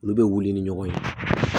Olu bɛ wuli ni ɲɔgɔn ye